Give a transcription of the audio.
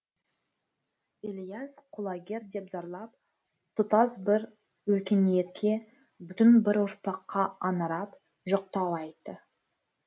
ілияс құлагер деп зарлап тұтас бір өркениетке бүтін бір ұрпаққа аңырап жоқтау айтты